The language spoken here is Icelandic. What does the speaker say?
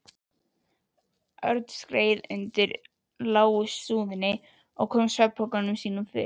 Örn skreið undir lágri súðinni og kom svefnpokanum sínum fyrir.